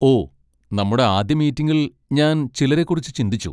ഓ, നമ്മുടെ ആദ്യ മീറ്റിംഗിൽ ഞാൻ ചിലരെക്കുറിച്ച് ചിന്തിച്ചു.